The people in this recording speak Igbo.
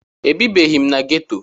Ebibeghị m na geto.